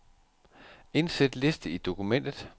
Indsæt liste i dokumentet.